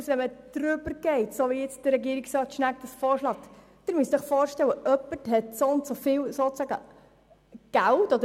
Überschreitet man sie, wie nun von Regierungsrat Schnegg vorgeschlagen, heisst das dann, es sollte eine Ablösung von der Sozialhilfe möglich sein?